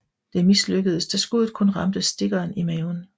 Det mislykkedes da skuddet kun ramte stikkeren i maven